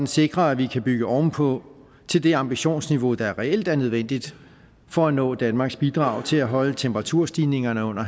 sikrer at vi kan bygge oven på til det ambitionsniveau der reelt er nødvendigt for at nå danmarks bidrag til at holde temperaturstigningerne under